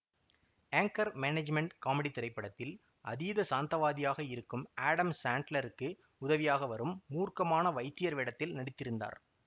Anchor management காமெடித் திரைப்படத்தில் அதீத சாந்தவாதியாக இருக்கும் ஆடம் சாண்ட்லருக்கு உதவியாக வரும் மூர்க்கமான வைத்தியர் வேடத்தில் நடித்திருந்தார்